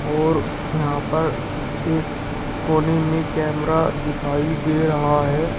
और यहां पर एक कोने में कैमरा दिखाई दे रहा है।